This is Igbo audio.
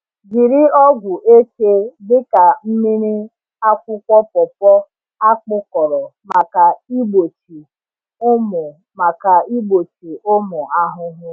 Jiri ọgwụ eke dị ka mmiri akwụkwọ pawpaw a kpụkọrọ maka igbochi ụmụ maka igbochi ụmụ ahụhụ.